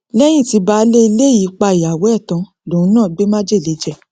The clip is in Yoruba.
lẹyìn tí baálé ilé yìí pa ìyàwó ẹ tán lòun náà gbé májèlé jẹ